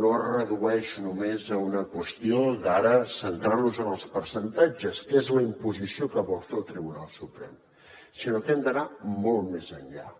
no es redueix només a una qüestió d’ara centrar nos en els percentatges que és la imposició que vol fer el tribunal suprem sinó que hem d’anar molt més enllà